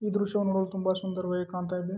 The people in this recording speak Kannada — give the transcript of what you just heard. ಈ ದೃಶ್ಯವನ್ನ ನೋಡಲು ತುಂಬ ಸುಂದರವಾಗಿ ಕಾಣ್ತಾ ಇದೆ.